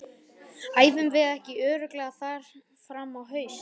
Æfum við ekki örugglega þar fram á haust?